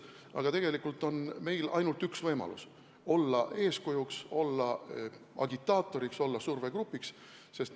Aga tegelikult on meil ainult üks võimalus: olla eeskujuks, olla agitaator, olla survegrupp.